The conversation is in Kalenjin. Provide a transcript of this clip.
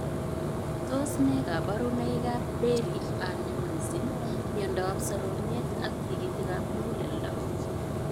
Tos nee kabarunoik ap Bery aneurism, miondoop soromiet ak tigitik ap muguleldo